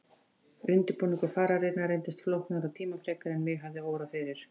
Undirbúningur fararinnar reyndist flóknari og tímafrekari en mig hafði órað fyrir.